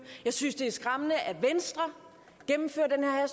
jeg synes det er skræmmende at venstre gennemfører den her